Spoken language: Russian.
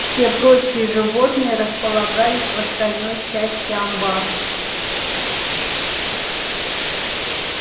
все прочие животные располагались в остальной части амбара